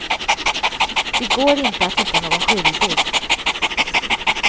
Det går inte att hitta någon skyldig.